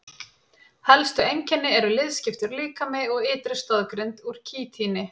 Helstu einkenni eru liðskiptur líkami og ytri stoðgrind úr kítíni.